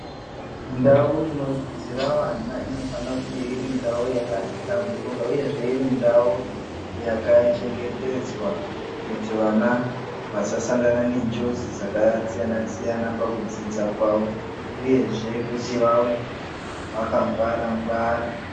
Ndau inodzidzira vana inofanira kunge irindau yakahlamburuka uye iri ndau yakachengetedzwa kuti vana vasasangana nenjodzi dzakasiyana-siyana pakudzidza kwavo, uyezve kuti vave vakangwara-ngwara.